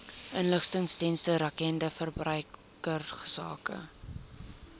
inligtingsdienste rakende verbruikersake